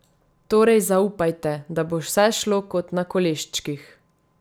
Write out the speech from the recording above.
Torej zaupajte, da bo vse šlo kot na koleščkih!